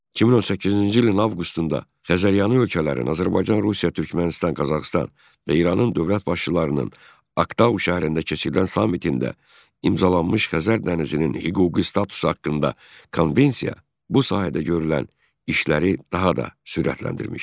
2018-ci ilin avqustunda Xəzəryanı ölkələrin, Azərbaycan, Rusiya, Türkmənistan, Qazaxıstan və İranın dövlət başçılarının Aktau şəhərində keçirilən sammitində imzalanmış Xəzər dənizinin hüquqi statusu haqqında Konvensiya bu sahədə görülən işləri daha da sürətləndirmişdir.